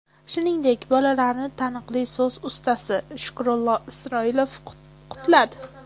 Shuningdek, bolalarni taniqli so‘z ustasi Shukrullo Isroilov qutladi.